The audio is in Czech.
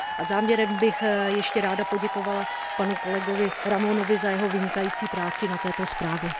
Závěrem bych ještě ráda poděkovala panu kolegovi Ramonovi za jeho vynikající práci na této zprávě.